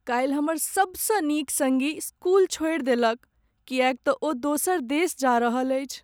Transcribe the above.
काल्हि हमर सबसँ नीक संगी स्कूल छोड़ि देलक किएक तँ ओ दोसर देश जा रहल अछि ।